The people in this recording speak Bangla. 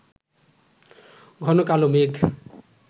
ঘন কালো মেঘ